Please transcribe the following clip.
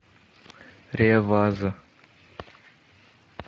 реваз